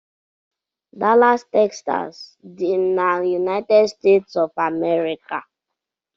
Dallas Texas dị na United States of America.